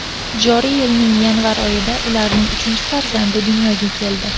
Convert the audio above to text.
Joriy yilning yanvar oyida ularning uchinchi farzandi dunyoga keldi.